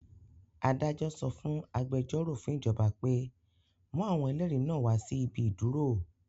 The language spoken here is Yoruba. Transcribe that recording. Adájọ sọ fún agbẹjọ́rò fún ìjọba pé; mú àwọn ẹlẹ́rìí náà wá sí ibi ìdúró?